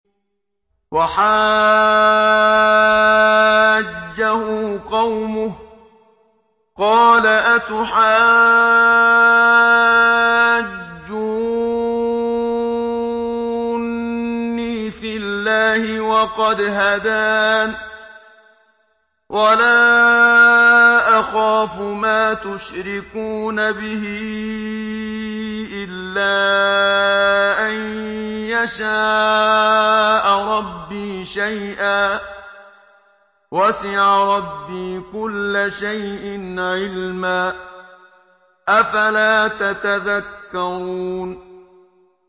وَحَاجَّهُ قَوْمُهُ ۚ قَالَ أَتُحَاجُّونِّي فِي اللَّهِ وَقَدْ هَدَانِ ۚ وَلَا أَخَافُ مَا تُشْرِكُونَ بِهِ إِلَّا أَن يَشَاءَ رَبِّي شَيْئًا ۗ وَسِعَ رَبِّي كُلَّ شَيْءٍ عِلْمًا ۗ أَفَلَا تَتَذَكَّرُونَ